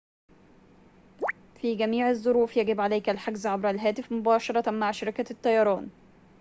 في جميع الظروف يجب عليك الحجز عبر الهاتف مباشرة مع شركة الطيران